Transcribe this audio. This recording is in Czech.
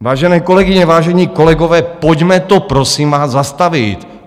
Vážené kolegyně, vážení kolegové, pojďme to, prosím vás, zastavit.